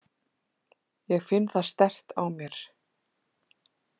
Ég finn það sterkt á mér.